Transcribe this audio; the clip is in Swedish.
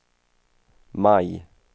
maj